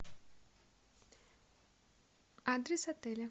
адрес отеля